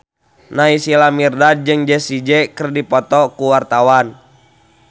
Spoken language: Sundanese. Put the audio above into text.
Naysila Mirdad jeung Jessie J keur dipoto ku wartawan